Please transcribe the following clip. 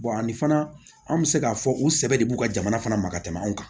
ani fana an bɛ se k'a fɔ u sɛbɛ de b'u ka jamana fana ma ka tɛmɛ anw kan